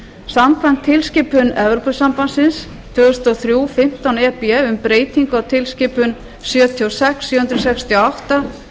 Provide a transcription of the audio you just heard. samkvæmt tilskipun evrópusambandsins tvö þúsund og þrjú fimmtán e b um breytingu á tilskipun sjötíu og sex sjö hundruð sextíu og átta